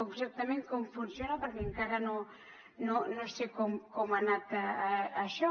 exactament com funciona perquè encara no sé com ha anat això